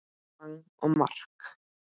Bang og mark!